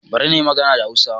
Bari na yi magana da Hausa